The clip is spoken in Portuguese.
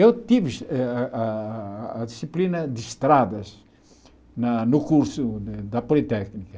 Eu tive a a a disciplina de estradas na no curso da Politécnica.